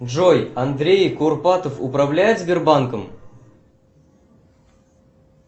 джой андрей курпатов управляет сбербанком